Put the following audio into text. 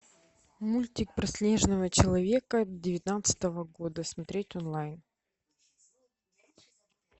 мультик про снежного человека девятнадцатого года смотреть онлайн